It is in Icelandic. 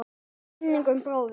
Minning um bróður.